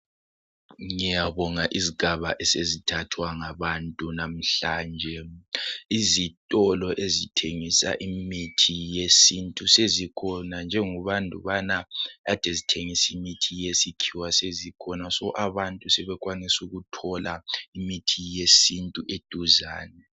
Ngiyabonga izigaba esezithathwa ngabantu namhlanje. Izitolo ezithengisa imithi yesintu sezikhona njengobandubana ade zithengisa imithi yesikhiwa sezikhona so abantu sebekwanisa ukuthola imithi yesintu eduzane.